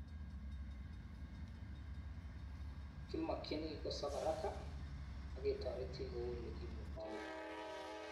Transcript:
"Kimakyini kosob haraka ak ketoreti kou ole kimuktoi"